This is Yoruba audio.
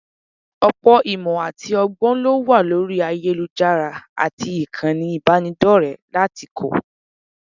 Ọ̀pọ̀ ìmọ̀ àti ọgbọ́n ló wà lórí ayélujára àti ìkànnì ìbánidọ́rẹ̀ẹ́ láti kọ́